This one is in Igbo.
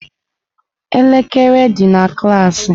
Elekere dị na klaasị.